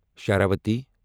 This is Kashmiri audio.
شراوتی